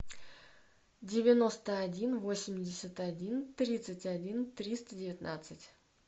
девяносто один восемьдесят один тридцать один триста девятнадцать